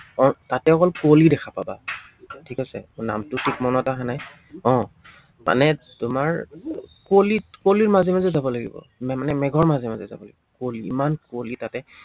আহ তাতে অকল কুঁৱলি দেখা পাবা ঠিক আছে। নামটো ঠিক মনত অহা নাই আহ মানে তোমাৰ কুঁৱলিত কুঁৱলিৰ মাজে মাজে যাব লাগিব, মানে মেঘৰ মাজে মাজে যাব লাগিব। কুঁৱলি ইমান কুঁৱলি তাতে।